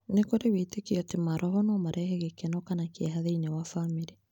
Nĩ kũrĩ wĩĩtĩkio atĩ maroho no marehe gĩkeno kana kĩeha thĩinĩ wa bamĩrĩ.